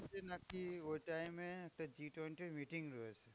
ওদের নাকি ওই time এ, একটা G twenty র meeting রয়েছে।